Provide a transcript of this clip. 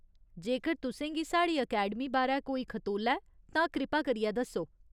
जेकर तुसेंगी साढ़ी अकैडमी बारै कोई खतोला ऐ तां कृपा करियै दस्सो।